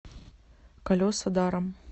колеса даром